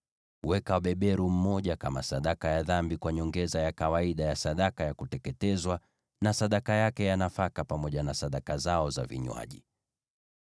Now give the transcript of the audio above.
Weka beberu mmoja kama sadaka ya dhambi, kwa nyongeza ya kawaida ya sadaka ya kuteketezwa, na sadaka yake ya nafaka, pamoja na sadaka zao za vinywaji.